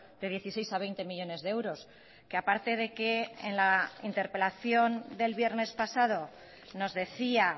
de dieciséis a veinte millónes de euros que aparte de que en la interpelación del viernes pasado nos decía